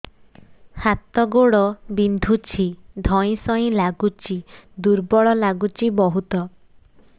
ହାତ ଗୋଡ ବିନ୍ଧୁଛି ଧଇଁସଇଁ ଲାଗୁଚି ଦୁର୍ବଳ ଲାଗୁଚି ବହୁତ